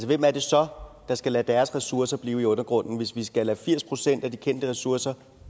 hvem er det så der skal lade deres ressourcer blive i undergrunden hvis vi skal lade firs procent af de kendte ressourcer